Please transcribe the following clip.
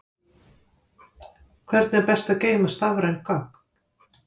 Hvernig er best að geyma stafræn gögn?